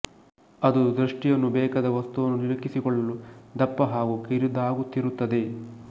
ಅದು ದೃಷ್ಟಿಯನ್ನು ಬೇಕಾದ ವಸ್ತುವನ್ನು ನಿಲುಕಿಸಿಕೊಳ್ಳಲು ದಪ್ಪ ಹಾಗೂ ಕಿರಿದಾಗುತ್ತಿರುತ್ತದೆ